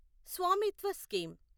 Swamitva scheme